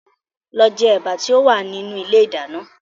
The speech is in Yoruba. Lọ jẹ ẹ̀bà tí ó wà nínú ilé ìdáná